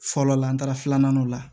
Fɔlɔ la an taara filanan dɔ la